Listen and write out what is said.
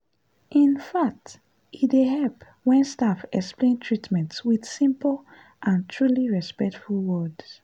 in fact e dey help when staff explain treatment with simple and truly respectful words.